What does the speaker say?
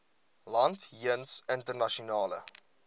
land jeens internasionale